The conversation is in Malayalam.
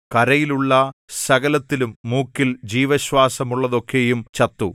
കരയിലുള്ള സകലത്തിലും മൂക്കിൽ ജീവശ്വാസമുള്ളതൊക്കെയും ചത്തു